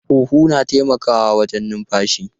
Huhu na taimakawa wajen numfashi.